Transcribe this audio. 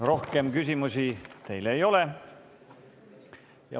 Rohkem küsimusi teile ei ole.